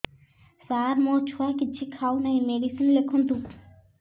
ସାର ମୋ ଛୁଆ କିଛି ଖାଉ ନାହିଁ ମେଡିସିନ ଲେଖନ୍ତୁ